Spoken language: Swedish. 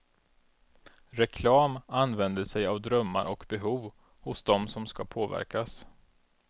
Reklam använder sig av drömmar och behov hos dem som ska påverkas.